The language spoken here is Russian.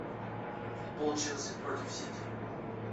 футбол челси против сити